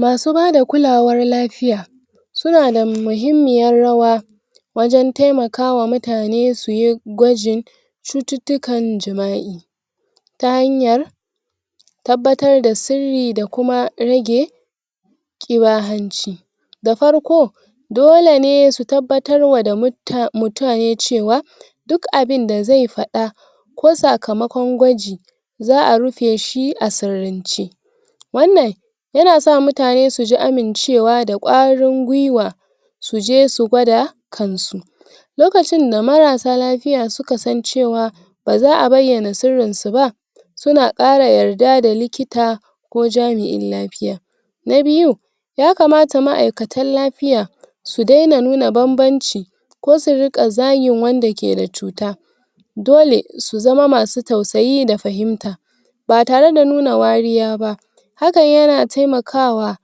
masu bada kulawar lafiya suna dam muhimmiyar rawa wajan temaka wa mutane suyi gwajin cututtukan jima'i ta hayar tabbatar da sirri da kuma rage da farko dole ne su tabbatar wa da mut ta[um] mutane cewa duk abinda zai faɗa ko sakamakon gwaji za'a rufaeshi a srrince wannan yana sa mutane suji amincewa da Ƙwarin gwiwa suje su gwada kansu lokacin da marasa lafiya suka san cewa baza a bayyanan sirri su ba suns Ƙara yarda da likita ko jami'in lafiya na biyu yakamat ma'ikatan lapiya su daina nuna banbanci ko su riƘa zagin wanda keda cuta dole su zama masu tausayi da fahimta batare da nuna wariya ba hakan yana temakawa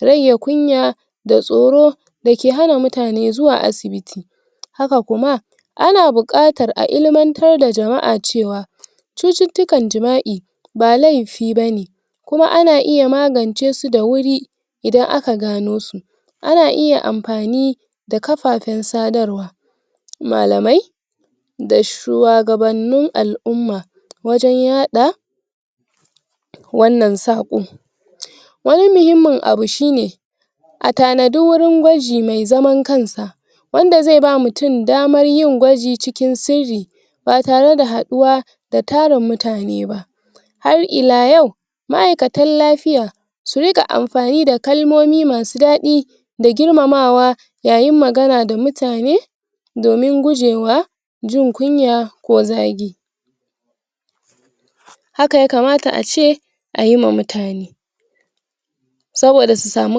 rage kunya da tsoro dake hana mutane zuwa asibiti haka kuma ana buƘatar a ilimantar da jama'a cewa cucutukan jima'i ba laifi bane kuma ana iya magance su da wuri idan aka cano su ana iya anpani da kafafen sadarwa malamai da shuwagabanin al'umma wajan yaɗa wannan saƘo wani muhimmin abu shi ne atanaji wuri gwaji mai zaman kansa wandaze ba mutun damar yin gwaji cikin sirri batare da haɗuwa da tarin mutane ba har ila yau ma'ikatan lafiya su rika anfani da kalmomi masu daɗi da girmamawa yayin magana da mutane domin gujewa jin kunya ko zagi haka yakamata ace ayi ma mutane saboda su sami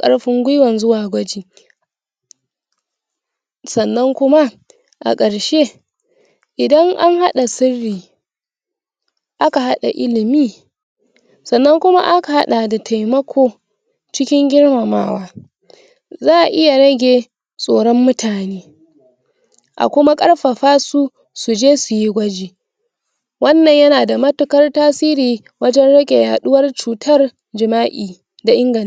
karfin gwiwan zuwa gwaji sannan kuma akarshe idan anhaɗa sirri aka haɗa ilimi sanan kuma aka haɗa da temako cikin girmamawa za'a iya rage tsoron mutane a kuma karfafa su wannan yanada mutukar tasiri wajan rage yaɗuwar cutar jima'i da ingant